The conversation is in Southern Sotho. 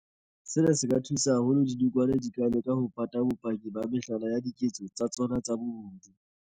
Sena se thusa haholo ha dinokwane di ka leka ho pata bopaki ba mehlala ya diketso tsa tsona tsa bobodu.